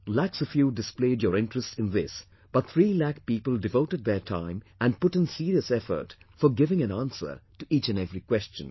' Lakhs of you displayed your interest in this but 3 lakh people devoted their time and put in serious effort for giving an answer to each and every question